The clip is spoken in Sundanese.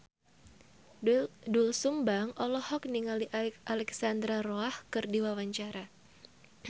Doel Sumbang olohok ningali Alexandra Roach keur diwawancara